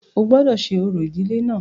O gbọ́dọ̀ ṣe orò ìdílé náà.